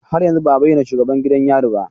Har yanzu ba a bayyana shugaban gidan yari ba